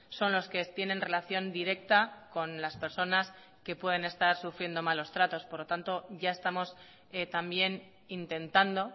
son los que tienen relación directa con las personas que pueden estar sufriendo malos tratos por lo tanto ya estamos también intentando